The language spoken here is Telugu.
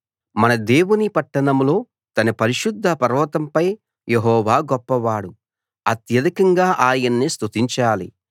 మన దేవుని పట్టణంలో తన పరిశుద్ధ పర్వతంపై యెహోవా గొప్పవాడు అత్యధికంగా ఆయన్ని స్తుతించాలి